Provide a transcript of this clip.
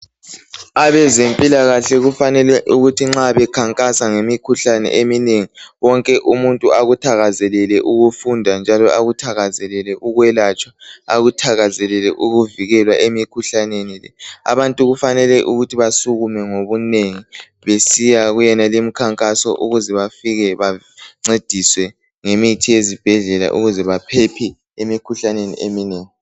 Abezempilakahle kufanele ukuthi nxa bekhankasa ngemikhuhlane eminengi wonke umuntu akuthakazelele ukufunda njalo akuthakazelele ukwelatshwa . Akuthakazelele ukuvikelwa emikhuhlaneni. Abantu kufanele basukume ngobunengi besiya kuyonale imikhankaso ukuze bancediswe ngemithi yezibhedlela ukuze baphephe emikhuhlaneni eminengi.